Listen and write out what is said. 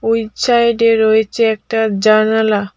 এই ছায়েডে রয়েছে একটা জানালা।